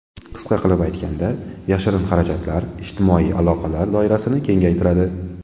Qisqa qilib aytganda, yashirin xarajatlar ijtimoiy aloqalar doirasini kengaytiradi.